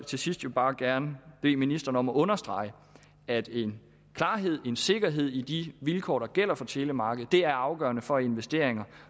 til sidst bare gerne bede ministeren om at understrege at en klarhed en sikkerhed i de vilkår der gælder for telemarkedet er afgørende for investeringer